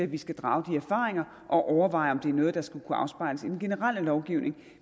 vi skal drage de erfaringer og overveje om det er noget der skal kunne afspejles i den generelle lovgivning